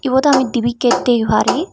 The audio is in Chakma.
iyot ami dibi gate degi pari.